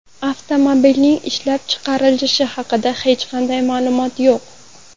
Avtomobilning ishlab chiqarilishi haqida hech qanday ma’lumot yo‘q.